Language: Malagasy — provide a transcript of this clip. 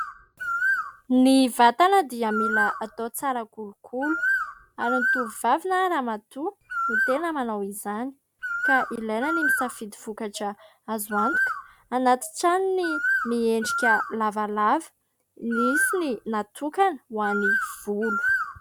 Ny vatana dia mila atao tsara kolokolo ary ny tovovavy na ny ramatoa no tena manao izany ka ilaina ny misafidy vokatra azo antoka anaty tranony miendrika lavalava nisy ny natokana ho any ny volo.